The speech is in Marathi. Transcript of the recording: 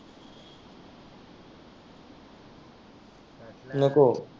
नको.